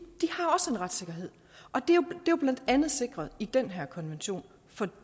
retssikkerhed og det er jo blandt andet sikret i netop den her konvention